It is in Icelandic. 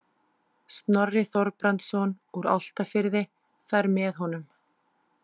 Snorri Þorbrandsson úr Álftafirði fer með honum.